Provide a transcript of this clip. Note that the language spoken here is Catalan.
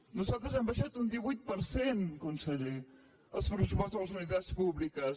nosaltres hem abaixat un divuit per cent conseller els pressupostos a les universitats públiques